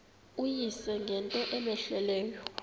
uyise ngento cmehleleyo